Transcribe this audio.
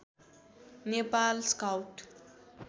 Nepal scout